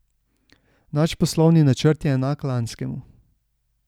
Naš poslovni načrt je enak lanskemu.